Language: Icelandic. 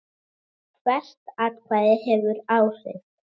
Hvert atkvæði hefur áhrif.